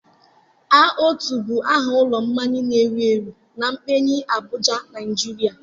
A-otu bụ aha ụlọ mmanya na-ewu ewu na kpegyi Abụja Naịjiria.